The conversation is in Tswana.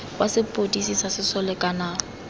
wa sepodisi sa sesole kana